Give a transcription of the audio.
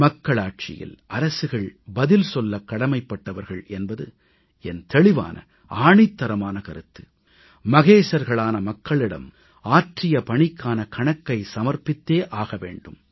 மக்களாட்சியில் அரசுகள் பதில் சொல்லக் கடமைப்பட்டவர்கள் என்பது என் தெளிவான ஆணித்தரமான கருத்து மகேசர்களான மக்களிடம் ஆற்றிய பணிக்கான கணக்கை சமர்ப்பித்தே ஆக வேண்டும்